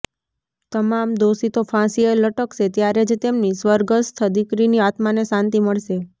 તમામ દોષિતો ફાંસીએ લટકશે ત્યારે જ તેમની સ્વર્ગસ્થ દીકરીની આત્માને શાંતિ મળશે